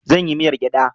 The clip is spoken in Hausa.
Zan yi miyar gyada